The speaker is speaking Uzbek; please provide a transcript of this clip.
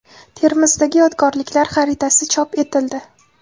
Termizdagi yodgorliklar xaritasi chop etildi.